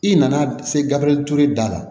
I nana se gafe turuli da la